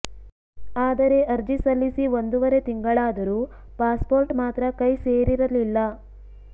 ಆದರೆ ಅರ್ಜಿ ಸಲ್ಲಿಸಿ ಒಂದೂವರೆ ತಿಂಗಳಾದರೂ ಪಾಸ್ ಪೋರ್ಟ್ ಮಾತ್ರ ಕೈ ಸೇರಿರಲಿಲ್ಲ